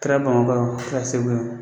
Kɛra bamakɔ yan o, kɛra segu yan o.